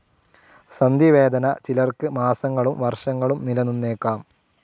സന്ധിവേദന ചിലർക്ക് മാസങ്ങളും വർഷങ്ങളും നിലനിന്നേക്കാം.